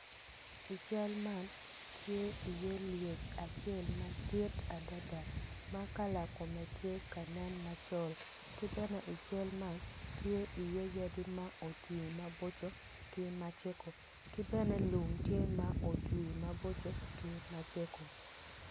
I cal man tye iye lec acel madit adada ma kala kome tye ka nen macol kibene i cal man tye bene yadi ma otwi maboco.